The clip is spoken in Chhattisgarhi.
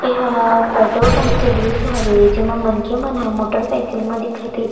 ए हा पेट्रोल पंप के दृश्य हवे जेमा मनखे मन ह मोटर साइकिल म दिखत हे।